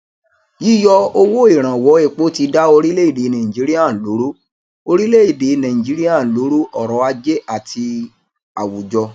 yíyọ owó ìrànwọ epo ti dá orílẹèdè nàìjíríà lóró orílẹèdè nàìjíríà lóró ọrọ ajé àti àwùjọ